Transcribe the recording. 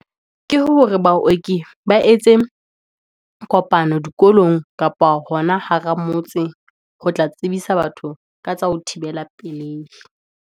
Ke hore baoki ba etse kopano dikolong kapa hona hara motse, ho tla tsebisa batho ka tsa ho thibela pelehi.